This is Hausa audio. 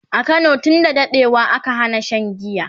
a Kano tun da daɗewa aka Hana Shan giya